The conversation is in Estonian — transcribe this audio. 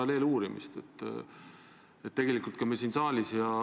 Need tuginevad väga paljuski meie liitlassuhetele.